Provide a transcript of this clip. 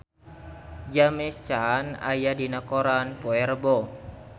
James Caan aya dina koran poe Rebo